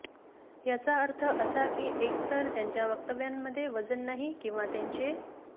याचा अर्थ असा की एकतर त्यांच्या वक्तव्यांमध्ये वजन नाही किंवा त्यांचे